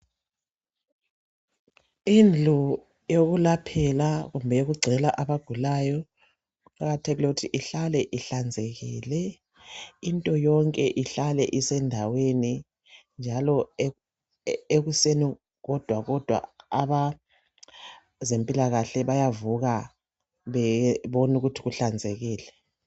Indlu yokulaphela kumbe okugcwele abagulayo kuqakathekile ukuthi ihlale ihlanzekile, into yonke ihlale isendaweni njalo ekuseni kodwa kodwa abezempilakahle bayavuka babone ukuthi kuhlanzekile.